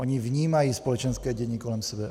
Oni vnímají společenské dění kolem sebe.